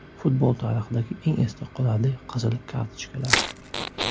Futbol tarixidagi eng esda qolarli qizil kartochkalar .